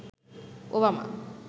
Obama